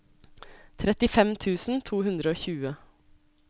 trettifem tusen to hundre og tjue